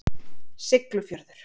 Siglufjörður